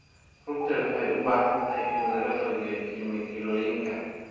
Rugta waxay u baahan tahay in laga fogeeyo kiimikooyinka.